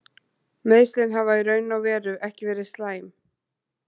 Meiðslin hafa í raun og veru ekki verið slæm.